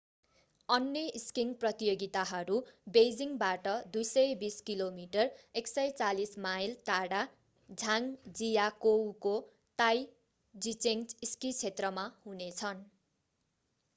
अन्य स्कीइङ प्रतियोगिताहरू बेइजिङबाट 220 किलोमिटर 140 माइल टाढा झाङजियाकोउको ताइजिचेङ स्की क्षेत्रमा हुनेछन्।